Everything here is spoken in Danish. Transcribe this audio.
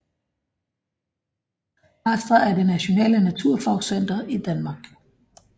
Astra er det nationale naturfagscenter i Danmark